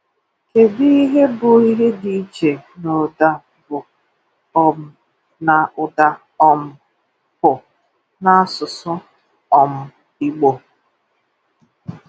Kédụ ihe bụ ihe dị iche n’ụ́da “b” um na ụ́da um “p” n’ásụsụ́ um Ìgbò?